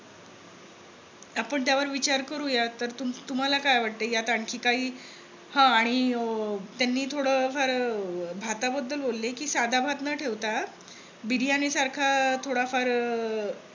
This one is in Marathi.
आपण त्यावर विचार करूया. तर तुम्हाला काय वाटतंय यात आणखी काही हम्म आणि त्यांनी थोड भाताबद्दल बोलले कि साधा भात न ठेवता. बिर्याणी सारखा थोडाफार अं